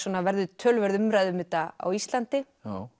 verður töluverð umræða um þetta á Íslandi